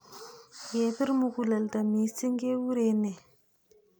Yepir mukuleldo missing' kekure nee?